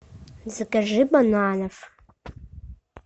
закажи бананов